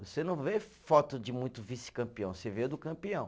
Você não vê foto de muito vice-campeão, você vê a do campeão.